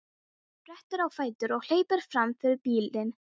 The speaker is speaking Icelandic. Sprettur á fætur og hleypur fram fyrir bílinn.